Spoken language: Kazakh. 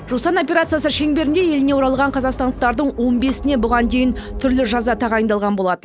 жусан операциясы шеңберінде еліне оралған қазақстандықтардың он бесіне бұған дейін түрлі жаза тағайындалған болатын